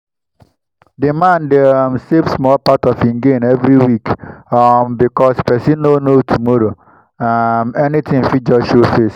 the man dey um save small part of him gain every week um because person no know tomorrow um anything fit just show face.